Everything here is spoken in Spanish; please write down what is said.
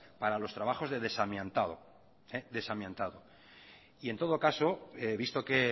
para los trabajos de desamiantado y en todo caso visto que